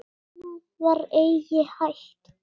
Annað var eigi hægt.